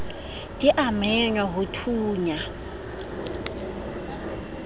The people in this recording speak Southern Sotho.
di a mengwa ho thonya